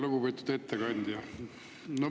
Lugupeetud ettekandja!